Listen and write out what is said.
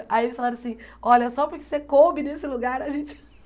Aí eles falaram assim, olha, só porque você coube nesse lugar, a gente...